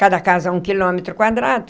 Cada casa, um quilômetro quadrado.